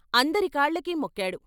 అందరి కాళ్ళకి మొక్కాడు.